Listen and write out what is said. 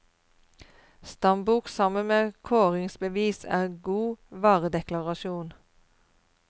Stambok sammen med kåringsbevis er god varedeklarasjon.